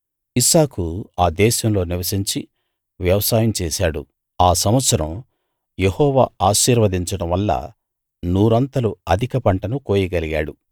ఇస్సాకు ఆ దేశంలో నివసించి వ్యవసాయం చేసాడు ఆ సంవత్సరం యెహోవా ఆశీర్వదించడం వల్ల నూరంతలు అధిక పంటను కోయగలిగాడు